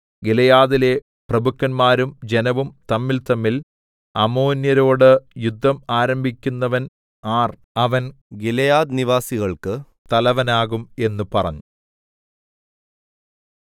ഗിലെയാദിലെ പ്രഭുക്കന്മാരും ജനവും തമ്മിൽതമ്മിൽ അമ്മോന്യരോട് യുദ്ധം ആരംഭിക്കുന്നവൻ ആർ അവൻ ഗിലെയാദ്നിവാസികൾക്ക് തലവനാകും എന്ന് പറഞ്ഞു